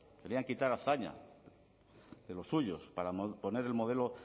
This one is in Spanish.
querían quitar a azaña de los suyos para poner el modelo